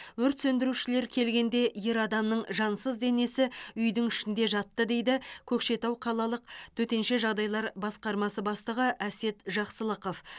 өрт сөндірушілер келгенде ер адамның жансыз денесі үйдің ішінде жатты дейді көкшетау қалалық төтенше жағдайлар басқармасы бастығы әсет жақсылықов